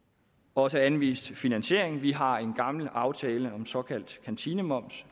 også anvist finansieringen vi har en gammel aftale om såkaldt kantinemoms